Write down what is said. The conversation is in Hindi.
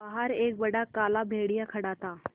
बाहर एक बड़ा काला भेड़िया खड़ा था